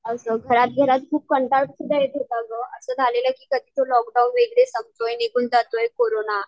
असं घरात घरात कंटाळ खूप येत होता गं. असं झालेले की कधीच लोकडाऊन वगैरे संपतोय निघून जातोय कोरोना.